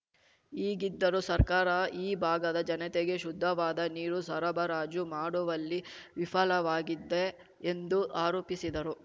ಹೀಗಿದ್ದರೂ ಸರ್ಕಾರ ಈ ಭಾಗದ ಜನತೆಗೆ ಶುದ್ಧವಾದ ನೀರು ಸರಬರಾಜು ಮಾಡುವಲ್ಲಿ ವಿಫಲವಾಗಿದ್ದೆ ಎಂದು ಆರೋಪಿಸಿದರು